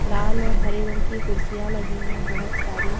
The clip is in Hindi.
लाल और हरे रंग की कुर्सियां लगी हैं बहुत सारी।